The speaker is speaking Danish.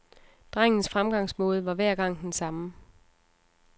Drengens fremgangsmåde var hver gang den samme.